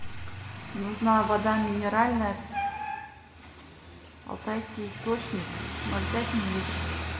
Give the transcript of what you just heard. нужна вода минеральная алтайский источник ноль пять миллилитров